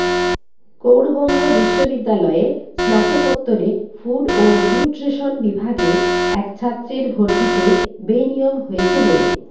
গৌড়বঙ্গ বিশ্ববিদ্যালয়ে স্নাতকোত্তরে ফুড ও নিউট্রেশন বিভাগে এক ছাত্রের ভর্তিতে বেনিয়ম হয়েছে বলে